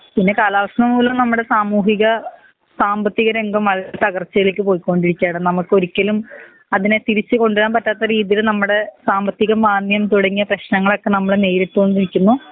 പിന്നെ കാലാവങ്ങളിൽ നമ്മടെ സാമൂഹിക സാമ്പത്തിക രംഗങ്ങൾ തകർച്ചയില്ലേക്ക് പോയികൊണ്ടിരിക്കാണ് നമ്മക്കൊരിക്കലും അതിനെ തിരിച്ച് കൊണ്ടുവരാൻ പറ്റാത്ത രീതിയിൽ നമ്മടെ സാമ്പത്തിക മാന്യൻ തോടങ്ങിയ പ്രേശ്നങ്ങളൊക്കെ നമ്മൾ നേരിട്ടൊണ്ടിരിക്കിന്ന